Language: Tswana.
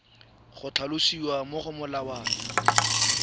go tlhalosiwa mo go molawana